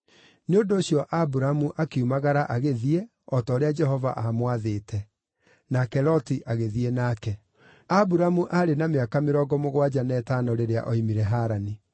Nĩ ũndũ ũcio Aburamu akiumagara agĩthiĩ, o ta ũrĩa Jehova aamwathĩte; nake Loti agĩthiĩ nake. Aburamu aarĩ na mĩaka mĩrongo mũgwanja na ĩtano rĩrĩa oimire Harani.